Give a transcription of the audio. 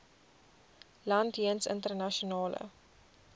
land jeens internasionale